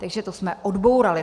Takže to jsme odbourali.